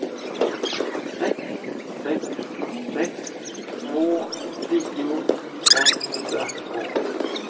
sex sex sex två tio femhundratvå